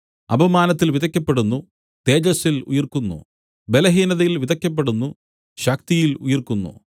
അപമാനത്തിൽ വിതയ്ക്കപ്പെടുന്നു തേജസ്സിൽ ഉയിർക്കുന്നു ബലഹീനതയിൽ വിതയ്ക്കപ്പെടുന്നു ശക്തിയിൽ ഉയിർക്കുന്നു